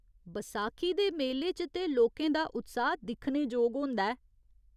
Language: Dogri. बसाखी दे मेले च ते लोकें दा उत्साह् दिक्खने जोग होंदा ऐ।